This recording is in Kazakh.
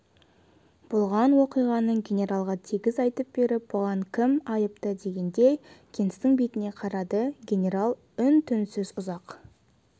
болған уақиғаны генералға тегіс айтып беріп бұған кім айыпты дегендей генстің бетіне қарады генерал үн-түнсіз ұзақ